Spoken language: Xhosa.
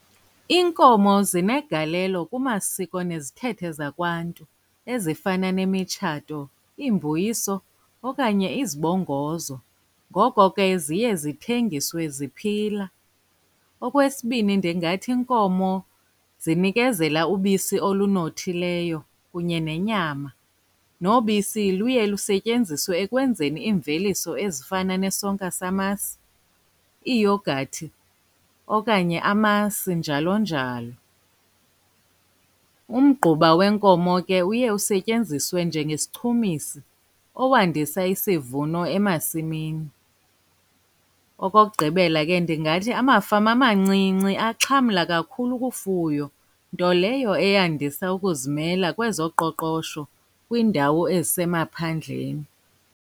Iinkomo zinegalelo kumasiko nezithethe zakwaNtu ezifana nemitshato, iimbuyiso, okanye izibongozo. Ngoko ke ziye zithengiswe ziphila. Okwesibin,i ndingathi iinkomo zinikezela ubisi olunothileyo kunye nenyama. Nobisi luye lusetyenziswe ekwenzeni iimveliso ezifana nesonka samasi, iiyogathi, okanye amasi, njalo njalo. Umgquba wenkomo ke uye usetyenziswe njengesichumisi owandisa isivuno emasimini. Okokugqibela, ke ndingathi amafama amancinci axhamla kakhulu kufuyo, nto leyo eyandisa ukuzimela kwezoqoqosho kwiindawo ezisemaphandleni.